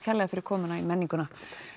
fyrir komuna í menninguna